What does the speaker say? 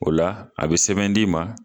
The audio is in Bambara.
O la a be sɛbɛn di ma